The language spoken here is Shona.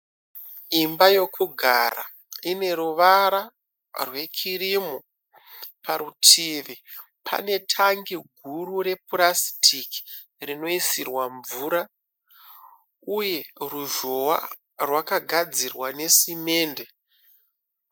Imba yokugara. Ine ruvara rwekirimu. Parutivi panetangi guru repurasitiki rinoisirwa mvura uye ruzhowa rwakagadzirwa nesimende.